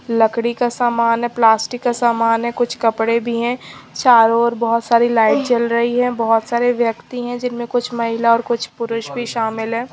लकड़ी का सामान है प्लास्टिक का समान है कुछ कपड़े भी हैं चारों ओर बहोत सारी लाइट जल रही है बहोत सारे व्यक्ति हैं जिनमें कुछ महिला और कुछ पुरुष भी शामिल हैं।